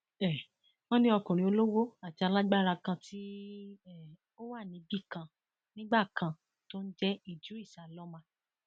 um wọn ní ọkùnrin olówó àti alágbára kan ti um wà níbì kan nígbà kan tó ń jẹ ìdírís alọmà